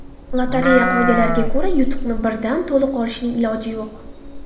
Lotereya qoidalariga ko‘ra, yutuqni birdan to‘liq olishning iloji yo‘q.